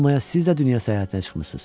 Olmaya siz də dünya səyahətinə çıxmısız?